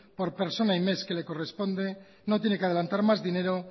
por persona y mes que le corresponde no tiene que adelantar más dinero